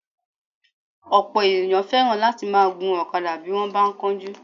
Ọ̀pọ̀ èèyàn fẹ́ràn láti máa gun ọ̀kadà bí wọ́n bá ń kánjú